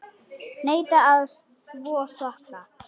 Neita að þvo sokka.